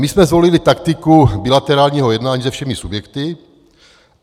My jsme zvolili taktiku bilaterálního jednání se všemi subjekty.